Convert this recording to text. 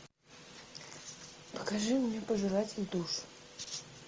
покажи мне пожиратель душ